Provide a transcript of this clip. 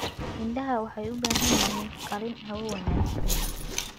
Idaha waxay u baahan yihiin qalin hawo wanaagsan leh.